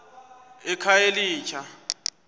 ekhayelitsha